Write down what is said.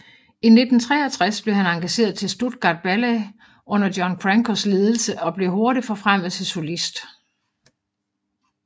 I 1963 blev han engageret til Stuttgart Ballet under John Crankos ledelse og blev hurtigt forfremmet til solist